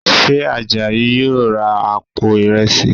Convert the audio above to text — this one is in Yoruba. Ṣe Àjàyí yóò ra àpò ìrẹsì?